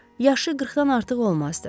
Yaşı 40-dan artıq olmazdı.